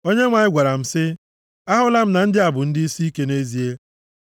Onyenwe anyị gwara m sị, “Ahụla m na ndị a bụ ndị isiike nʼezie.